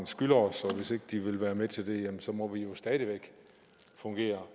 skylder os og hvis ikke de vil være med til det må vi jo stadig væk fungere